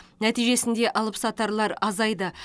нәтижесінде алыпсатарлар азайды